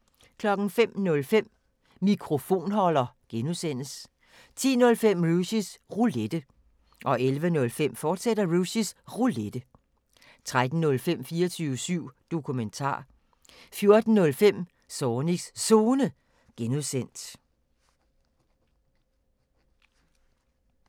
05:05: Mikrofonholder (G) 10:05: Rushys Roulette 11:05: Rushys Roulette, fortsat 13:05: 24syv Dokumentar 14:05: Zornigs Zone (G)